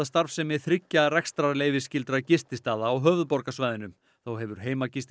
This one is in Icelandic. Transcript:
starfsemi þriggja gististaða á höfuðborgarsvæðinu þá hefur